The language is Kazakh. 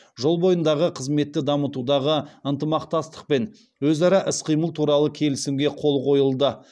жол бойындағы қызметті дамытудағы ынтымақтастық пен өзара іс қимыл туралы келісімге қол қойылды